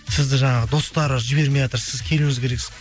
сізді жаңағы достары жібермейатыр сіз келуіңіз керексіз